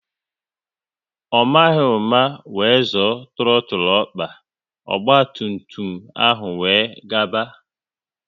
Ọ maghị ụma wéré zoọ trotul ọkpa, ogba tum tum ahụ wéré gaba